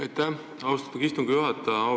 Aitäh, austatud istungi juhataja!